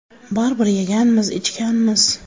Baribir yeganmiz, ichganmiz.